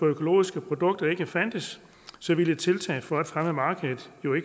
økologiske produkter ikke fandtes ville et tiltag for at fremme markedet jo